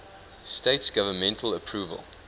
states government approval